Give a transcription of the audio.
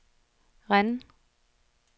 Rennes